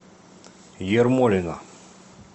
ермолино